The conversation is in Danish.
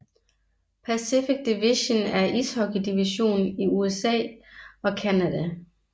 Pacific Division er ishockeydivision i USA og Canada